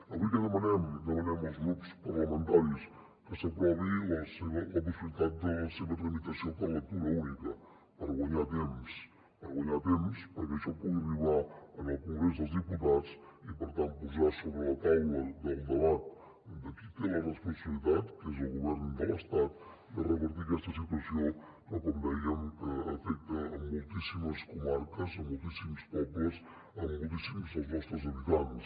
avui què demanem què demanem als grups parlamentaris que s’aprovi la possibilitat de la seva tramitació per lectura única per guanyar temps per guanyar temps perquè això pugui arribar al congrés dels diputats i per tant posar sobre la taula del debat de qui en té la responsabilitat que és el govern de l’estat de revertir aquesta situació que com dèiem afecta moltíssimes comarques moltíssims pobles moltíssims dels nostres habitants